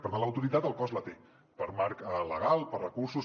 per tant l’autoritat el cos la té per marc legal per recursos